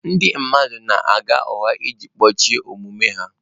Ndị mmadụ na-agha ụgha iji kpuchie omume ha.